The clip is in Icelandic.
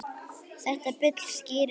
Þetta bull skýrir sig sjálft.